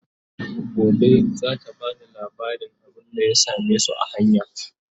Gobe zata bani labarin abunda ya samesu a hanya